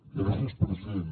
gràcies president